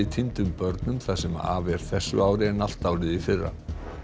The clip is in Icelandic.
týndum börnum það sem af er þessu ári en allt árið í fyrra